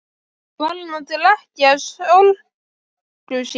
Var hann að drekkja sorgum sínum?